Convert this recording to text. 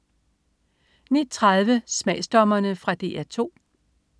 09.30 Smagsdommerne. Fra DR 2